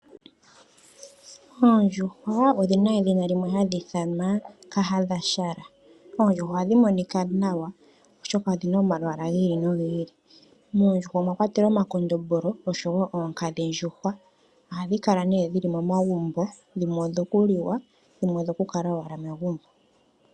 Oondjuhwa odhina edhina limwe hali ithanwa ka hadhashala. Oondjuhwa ohadhi monika nawa oshoka odhina omalwaala giili nogiili. Moondjuhwa omwa kwatelwa oma kondombolo osho woo oonkadhi ndjuhwa. Ohadhikala nee dhili momagumbo, dhimwe odho kuliwa, dhimwe odho kukala owala megumbo.